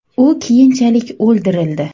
U keyinchalik o‘ldirildi.